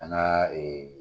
An ka